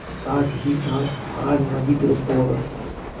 साथहीसाथ हाजमा भी दुरूस्त होगा